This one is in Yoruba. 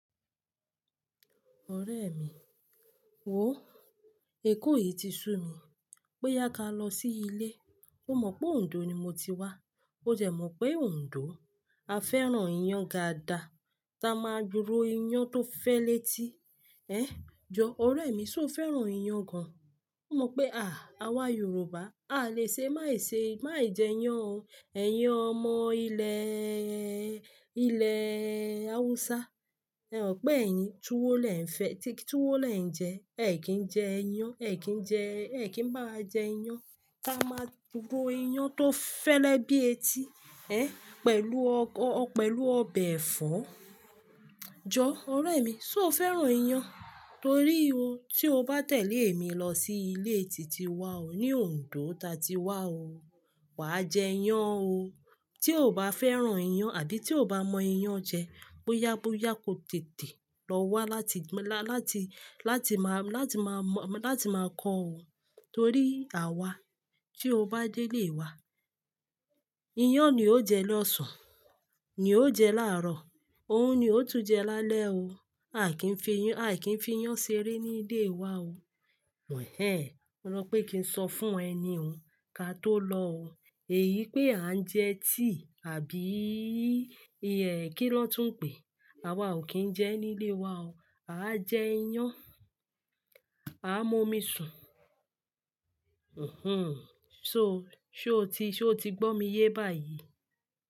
Ọ̀rẹ́ mi, wò ó, èkó yìí ti sú mi. Bo yá ká lọ sí ilé. Ó mọ̀ pé Ondo ni mo ti wá. Ó dẹ̀ mọ̀ pé Ondo a fẹ́ràn iyán dada, tá a máa duro iyán tó fẹ́lẹ́ ti. Ẹ̀n, jọ ọ̀rẹ́ mi, ṣó fẹ́ràn iyán gan? Ó mọ̀ pé à, àwa Yorùbá, a lè ṣe, má ì ṣe, má ì jẹ iyán o. Ẹ̀yàn ọmọ ilẹ̀ẹ̀ẹ̀, ilẹ̀ Hausa, ẹ ò pé ẹ̀yin túwó lẹ̀ ń fẹ́, tí túwó lẹ̀ ń jẹ. Ẹ̀yí kìí jẹ iyán, ẹ̀ kìí jẹ, ẹ̀ kìí bá wa jẹ iyán. Tá a máa duro iyán tó fẹ́lẹ́ bí etí, ẹ̀, pẹ̀lú ọkọ, pẹ̀lú ọbẹ̀ ẹ̀fọ́. Jọ ọ̀rẹ́ mi, ṣó fẹ́ràn iyán? Torí o, tí o bá tẹ̀lé mi lọ sí ilé tí ti wá o, ní Ondo ta ti wá o, wà á jẹ iyán o. Tí o bá fẹ́ràn iyán àbí tí o bá mọ iyán jẹ, bóyá, bóyá ko tètè lọ wá láti, la-láti, láti má, láti má mọ, láti má kọ́ o. Torí àwa, tí o bá délé wa, iyán ni ó jẹ lọ́sàn, ní ó jẹ láàrọ̀, òun ni ó tún jẹ lálẹ́ o. A kìí fi iyan, a kìí fi iyan ṣeré ní ilé wa o. Mẹ̀ ẹ́, mo rọ pé kí n sọ fún ẹ ni o, ká tó lọ o. Èyí pé à ń jẹ tíì àbííì ẹ́ kí lọ́tùn pè, àwa ò kí ń jẹ ní ilé wa o. À á jẹ iyán, à á mọ́mi sùn. Mmhmm, ṣo, ṣé o ti, ṣé o ti gbọ́ mi yé báyìí?